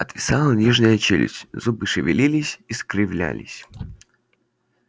отвисала нижняя челюсть зубы шевелились искривлялись